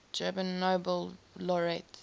german nobel laureates